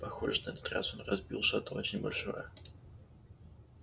похоже на этот раз он разбил что-то очень большое